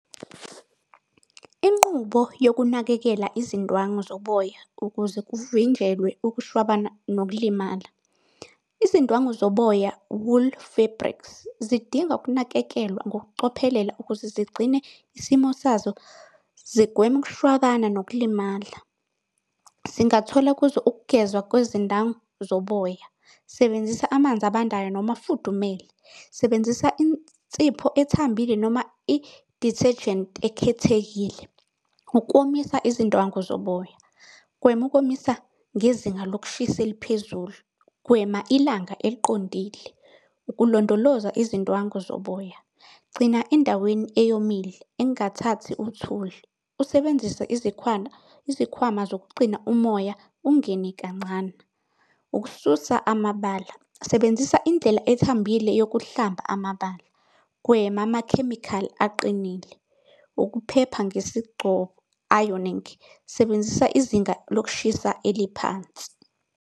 Inqubo yokunakekela izindwangu zoboya ukuze kuvinjelwe ukushwabana nokulimala. Izindwangu zoboya, wool fabrics, zidinga ukunakekelwa ngokucophelela ukuze zigcine isimo sazo zigweme ukushwabana nokulimala. Singathola kuzo ukugezwa kwezindangu zoboya. Sebenzisa amanzi abandayo noma afudumele. Sebenzisa insipho ethambile noma i-detergent ekhethekile ukomisa izindwangu zoboya. Gwema ukomisa ngezinga lokushisa eliphezulu. Gwema ilanga eliqondile ukulondoloza izindwangu zoboya. Gcina endaweni eyomile engathathi uthuli, usebenzise izikhwama izikhwama zokugcina umoya ungene kancane. Ukususa amabala, sebenzisa indlela ethambile yokuhlamba amabala. Gwema amakhemikhali aqinile. Ukuphepha ironing. Sebenzisa izinga lokushisa eliphansi.